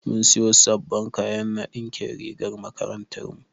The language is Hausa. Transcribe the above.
Mun siyo sabon kayan na ɗinkin rigar makarantar mu.